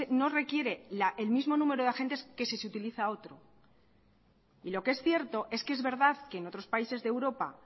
no requiere el mismo número de agentes que si se utiliza otro y lo que es cierto es que es verdad que en otros países de europa